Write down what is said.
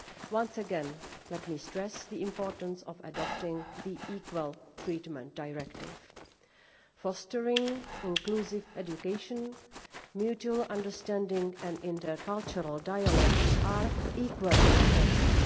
Once again, let me stress the importance of adopting the Equal Treatment Directive. Fostering inclusive education, mutual understanding and intercultural dialogue are equally important.